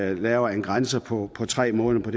at vi laver en grænse på tre måneder